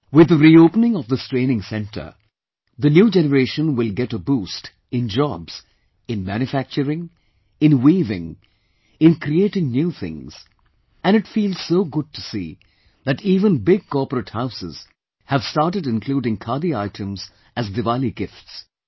With the reopening of this training centre, the new generation will get a boost in jobs in manufacturing , in weaving, in creating new things and it feels so good to see that even big corporate Houses have started including Khadi items as Diwali gifts